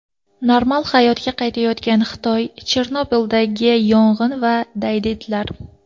Normal hayotga qaytayotgan Xitoy, Chernobildagi yong‘in va daydi itlar.